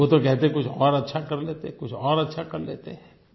वो तो कहते हैं कि कुछ और अच्छा कर लेते कुछ और अच्छा कर लेते